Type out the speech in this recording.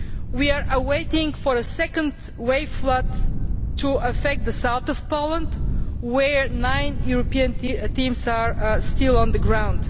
We are waiting for a second wave flood to affect the south of Poland, where nine European teams are still on the ground.